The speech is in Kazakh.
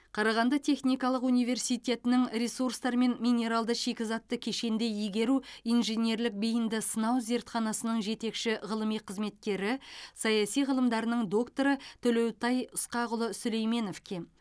қарағанды техникалық университетінің ресурстар мен минералды шикізатты кешенді игеру инженерлік бейінді сынау зертханасының жетекші ғылыми қызметкері саяси ғылымдарының докторы төлеутай ысқақұлы сүлейменовке